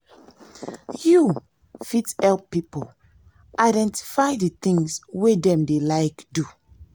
you fit help pipo identify di things wey dem dey like do